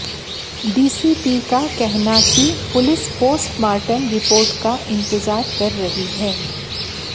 DCP का कहना कि पुलिस पोस्टमार्टम रिपोर्ट का इंतजार कर रही है